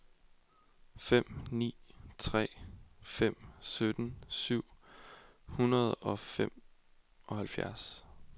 fem ni tre fem sytten syv hundrede og femoghalvtreds